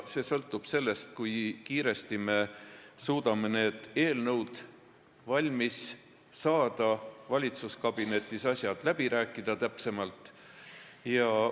Kõik sõltub sellest, kui kiiresti me suudame need eelnõud valmis saada, valitsuskabinetis asjad täpsemalt läbi rääkida.